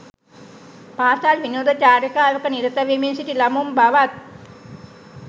පාසල් විනෝද චාරිකාවක නිරත වෙමින් සිටි ළමුන් බවත්